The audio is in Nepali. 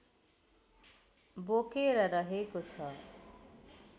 बोकेर रहेको छ